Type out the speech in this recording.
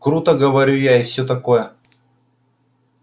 круто говорю я и всё такое